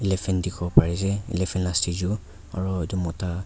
elephant dikhiwo pari ase elephant la statue aru etu mota.